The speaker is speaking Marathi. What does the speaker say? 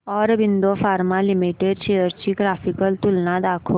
ऑरबिंदो फार्मा लिमिटेड शेअर्स ची ग्राफिकल तुलना दाखव